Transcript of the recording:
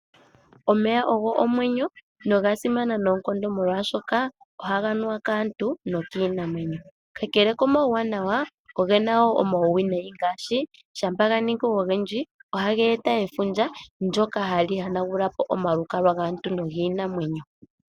Omeya ogo omwenyo noga simana noonkondo molwaashoka ohaga nuwa kaantu nokiinamwenyo. Ka kele komauwanawa ogena wo omauwinayi oshoka ngele ga ningi ogendji ohaga yona gula po omalukalwa gaantu nogiinamwenyo.